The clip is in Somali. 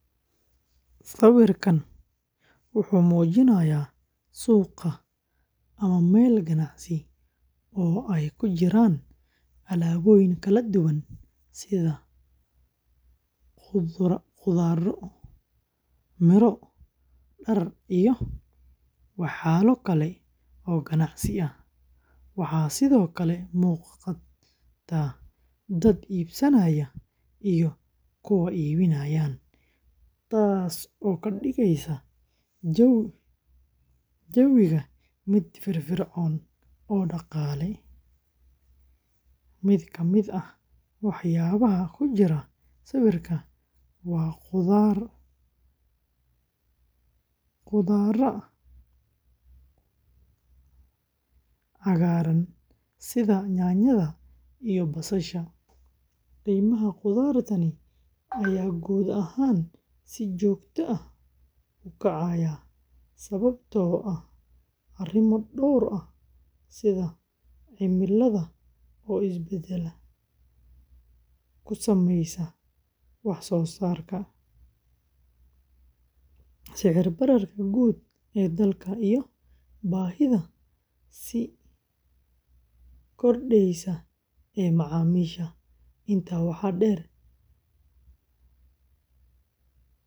sawirku wuxuu muujinayaa suuqa ama meel ganacsi oo ay ku jiraan alaabooyin kala duwan sida khudrado, miro, dhar, iyo walxo kale oo ganacsi ah. Waxaa sidoo kale muuqda dad iibsanaya iyo kuwa iibinaya, taas oo ka dhigaysa jawi firfircoon oo dhaqaale. Mid ka mid ah waxyaabaha ku jira sawirka waa khudradda cagaaran sida yaanyada iyo basasha. Qiimaha khudraddan ayaa guud ahaan si joogto ah u kacaya sababtoo ah arrimo dhowr ah sida cimilada oo isbeddel ku sameysa wax soo saarka, sicir bararka guud ee dalka, iyo baahida sii kordheysa ee macaamiisha. Intaa waxaa dheer, sicirka shidaalka oo sare u kaca.